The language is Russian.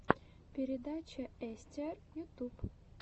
передача эстиар ютуб